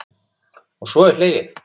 Og svo er hlegið.